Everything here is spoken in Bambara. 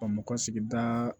Bamakɔsigi da